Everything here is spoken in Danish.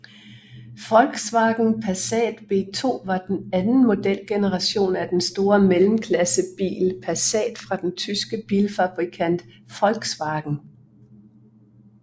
Volkswagen Passat B2 var den anden modelgeneration af den store mellemklassebil Passat fra den tyske bilfabrikant Volkswagen